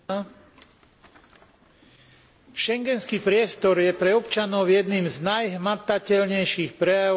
Schengenský priestor je pre občanov jedným z najhmatateľnejších prejavov slobody pohybu v Európskej únii.